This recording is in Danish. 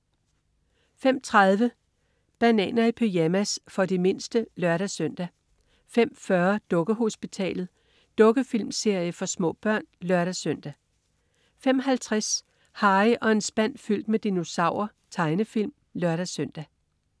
05.30 Bananer i pyjamas. For de mindste (lør-søn) 05.40 Dukkehospitalet. Dukkefilmserie for små børn (lør-søn) 05.50 Harry og en spand fyldt med dinosaurer. Tegnefilm (lør-søn)